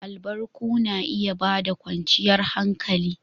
Albarku na iya ba da kwanciyar hankali.